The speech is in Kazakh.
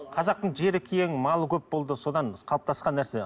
қазақтың жері кең малы көп болды содан қалыптасқан нәрсе